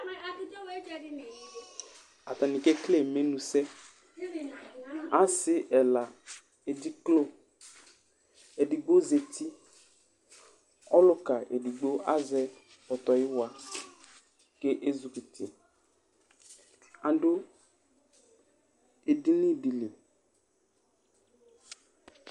Ataŋi kekele imenusɛ Asi ɛla edziklo Ɛɖigbo zɛti Ɔluka ɛɖigbo azɛ ɔtɔyʋwa kʋ ezikʋti kʋ aɖu edìní ɖi li